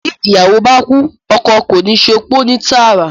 Bí ìyàwó báá kúú, oko kò níí sopó ní tààrà.